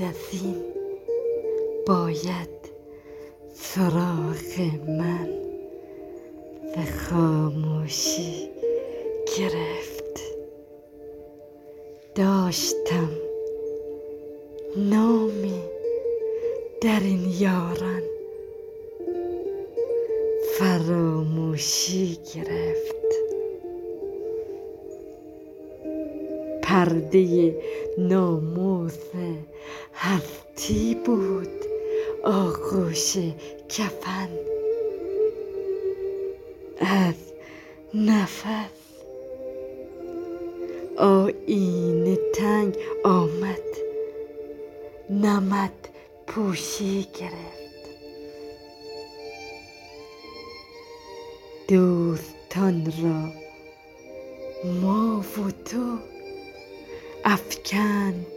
بعد از این باید سراغ من ز خاموشی گرفت داشتم نامی در این یاران فراموشی گرفت پرده ناموس هستی بود آغوش کفن از نفس آیینه تنگ آمد نمدپوشی گرفت دوستان را ما و تو افکند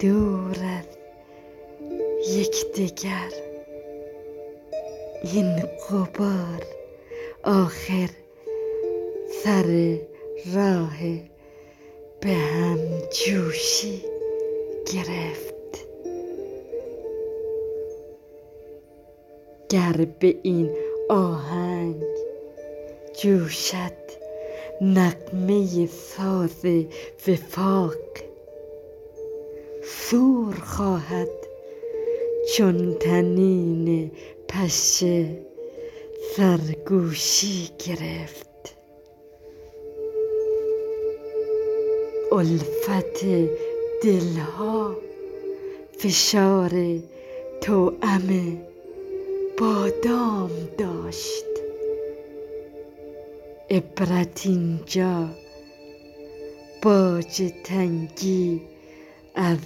دور از یکدگر این غبار آخر سر راه به همجوشی گرفت گر به این آهنگ جوشد نغمه ساز وفاق صور خواهد چون طنین پشه سرگوشی گرفت الفت دلها فشار توأم بادام داشت عبرت اینجا باج تنگی از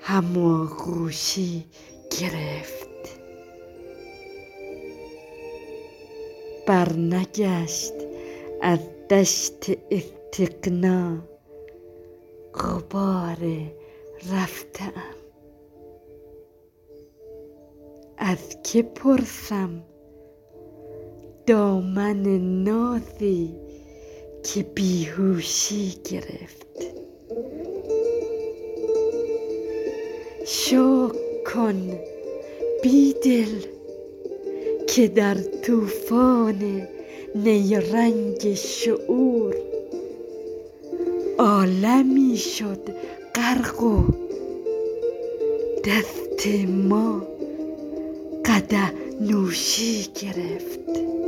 هماغوشی گرفت برنگشت از دشت استغنا غبار رفته ام از که پرسم دامن نازی که بیهوشی گرفت شکر کن بیدل که در توفان نیرنگ شعور عالمی شد غرق و دست ما قدح نوشی گرفت